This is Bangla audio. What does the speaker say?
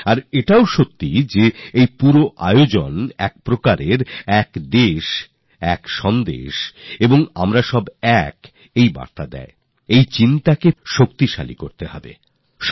আর এটাও সত্যি যে এই সমগ্র আয়োজন এক প্রকারে এক দেশ এক বার্তা আর আমরা সবাই এক এই মনোভাবকে পুষ্ট করে শক্তি যোগায়